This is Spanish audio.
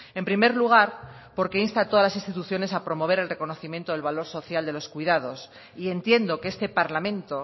en primer lugar porque insta a todas las instituciones a promover el reconocimiento del valor social de los cuidados y entiendo que este parlamento